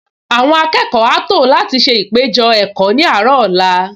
Àwọn akẹ́kọ̀ọ á tò láti ṣe ìpéjọ-ẹ̀kọ́ ní àárọ̀ ọ̀la